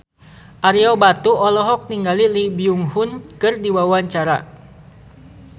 Ario Batu olohok ningali Lee Byung Hun keur diwawancara